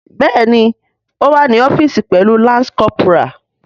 Bẹẹni o wa ni ọfiisi pẹlu lance corporal.